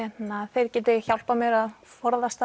þeir geti hjálpað mér að forðast